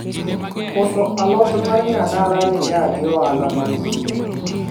uso alot mar nyadala niga gi ohala maduong'